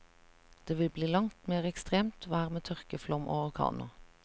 Det vil bli langt mere ekstremt vær med tørke, flom og orkaner.